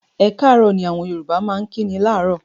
"Ẹ káàárọ̀" ni àwọn Yorùbá máa ń kíni láàárọ̀.